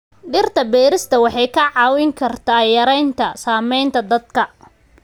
Dhirta beerista waxay kaa caawin kartaa yaraynta saamaynta daadadka.